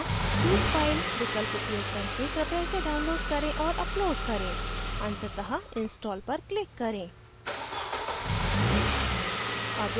यहाँ choose file विकल्प उपयोग करके कृपया इसे download करें और upload करें अंततः install पर click करें